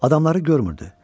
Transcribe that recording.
Adamları görmürdü.